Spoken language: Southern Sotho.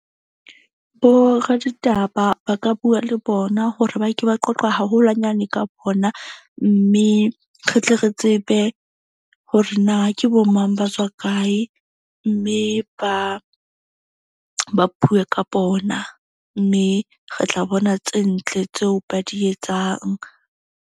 Bo raditaba ba ka bua le bona hore ba ke ba qoqe haholwanyane ka bona. Mme re tle re tsebe hore na ke bo mang, ba tswa kae mme ba bue ka bona. Mme re tla bona tse ntle tseo ba di etsang.